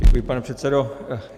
Děkuji, pane předsedo.